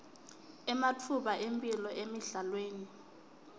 ematfuba emphilo emidlalweni